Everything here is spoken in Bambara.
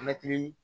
Mɛtiri